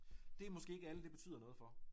Det måske ikke alle det betyder noget for